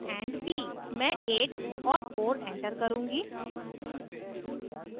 मैं 8 और 4 enter करुँगी